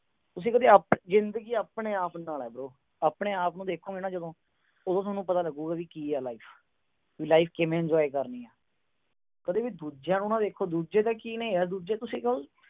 ਤੁਸੀਂ ਕਦੇ ਆਪਣੇ-ਆਪ ਨੂੰ ਦੇਖੋ, ਜਿੰਦਗੀ ਆਪਣੇ-ਆਪ ਨਾਲ ਹੈ ਬਰੋ। ਆਪਣੇ-ਆਪ ਨੂੰ ਦੇਖੋਗੇ ਨਾ ਜਦੋਂ ਉਦੋਂ ਤੁਹਾਨੂੰ ਪਤਾ ਲਗੂਗਾ, ਕੀ ਆ life ਕਿਵੇਂ life enjoy ਕਰਨੀ ਆ। ਕਦੇ ਵੀ ਦੂਜੇ ਨੂੰ ਨਾ ਦੇਖੋ, ਦੂਜੇ ਕੀ ਨੇ ਯਾਰ, ਦੂਜੇ ਤੁਸੀਂ ਕਹੋ